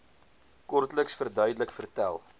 kortliks verduidelik vertel